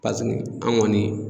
an ŋɔni